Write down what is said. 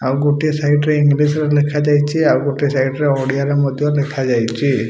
ଆଉ ଗୋଟିଏ ସାଇଡ ରେ ଇଂଲିଶ ରେ ଲେଖାଯାଇଛି ଆଉ ଗୋଟିଏ ସାଇଡି ରେ ଓଡ଼ିଆ ରେ ମଧ୍ୟ ଲେଖାଯାଇଛି।